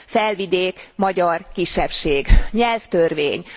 Felvidék, magyar kisebbség nyelvtörvény.